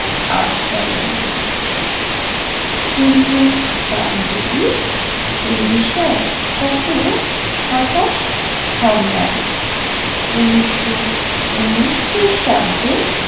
আশ্রয় রইব। কিন্তু গান্ধীজি এই বিষয়ে কখনো হতাশ হন নাই। উনিশশো উনিশ খ্রিস্টাব্দে